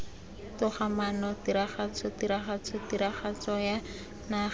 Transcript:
togamaano tiragatso tiragatso tiragatsoya naga